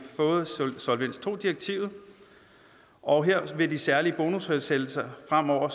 direktivet og her vil de særlige bonushensættelser fremover